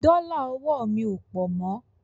Dọ́là ọwọ́ mi ò pọ̀ mo.